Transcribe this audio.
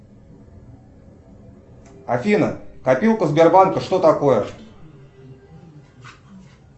афина копилка сбербанка что такое